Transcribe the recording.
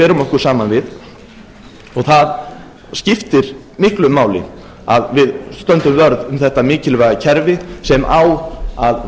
berum okkur saman við og það skiptir miklu máli að við stöndum vörð um þetta mikilvæga kerfi sem á að